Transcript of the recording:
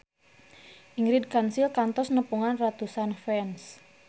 Ingrid Kansil kantos nepungan ratusan fans